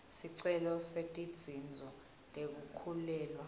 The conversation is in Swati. sicelo setinzuzo tekukhulelwa